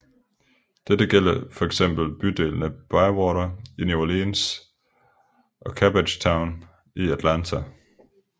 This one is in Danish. Det gælder for eksempel bydelene Bywater i New Orleans og Cabbagetown i Atlanta